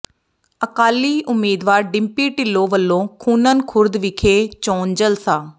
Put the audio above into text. ਅਕਾਲੀ ਉਮੀਦਵਾਰ ਡਿੰਪੀ ਢਿੱਲੋਂ ਵੱਲੋਂ ਖੂੰਨਣ ਖੁਰਦ ਵਿਖੇ ਚੋਣ ਜਲਸਾ